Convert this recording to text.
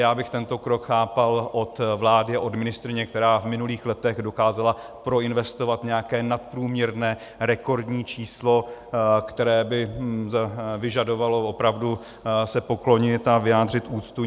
Já bych tento krok chápal od vlády a od ministryně, která v minulých letech dokázala proinvestovat nějaké nadprůměrné, rekordní číslo, které by vyžadovalo opravdu se poklonit a vyjádřit úctu.